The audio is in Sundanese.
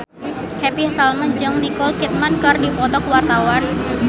Happy Salma jeung Nicole Kidman keur dipoto ku wartawan